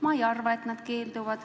"Ma ei arva, et nad keelduvad.